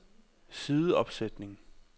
sideopsætning